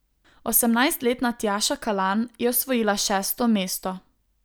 Osemnajstletna Tjaša Kalan je osvojila šesto mesto.